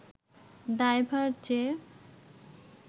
দায়ভার যে